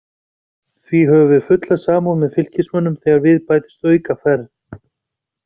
Því höfum við fulla samúð með Fylkismönnum þegar við bætist aukaferð.